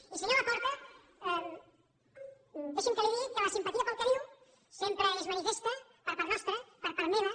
i senyor laporta deixi’m que li digui que la simpatia pel que diu sempre és manifesta per part nostra per part meva